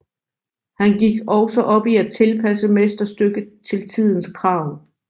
Han gik også op i at tilpasse mesterstykket til tidens krav